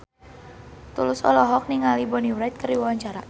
Tulus olohok ningali Bonnie Wright keur diwawancara